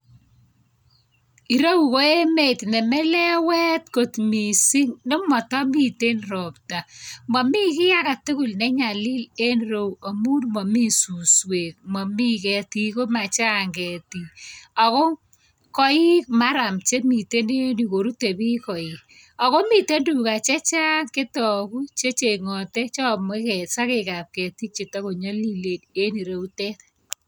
Irogu ko emet ne melewet kot miising' nematamite ropta mami ki agetugul nenyalil en rou amu mami suswek, mami ketik komachang' ketik ako koik murram chemite en yu korute biik koik, akomite tuga chechang' chetoku checheng'ate cheaame sakek apketik chetakonyalilen en rokutet